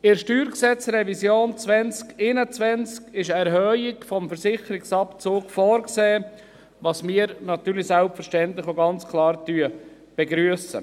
In der Steuergesetz(StG)-Revision 2021 ist eine Erhöhung des Versicherungsabzugs vorgesehen, was wir selbstverständlich ganz klar begrüssen.